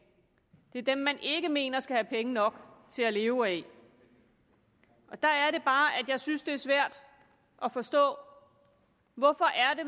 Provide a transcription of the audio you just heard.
det er dem man ikke mener skal have penge nok til at leve af der er det bare at jeg synes det er svært at forstå hvorfor